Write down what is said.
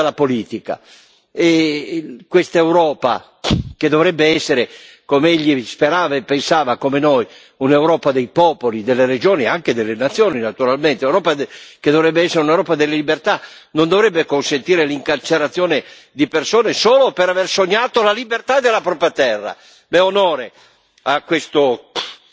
È stato un uomo onesto, limpido, un poeta dalla politica, e questa Europa che dovrebbe essere come egli sperava e pensava, come noi un'Europa dei popoli, delle regioni e anche delle nazioni, naturalmente, un'Europa che dovrebbe essere un'Europa delle libertà, non dovrebbe consentire l'incarcerazione di persone solo per aver sognato la libertà della propria terra.